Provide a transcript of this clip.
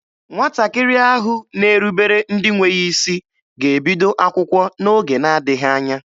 Nwatakịrị ahụ na-erubere ndị nwe ya isi ga-ebido akwụkwọ n'oge na-adịghị anya.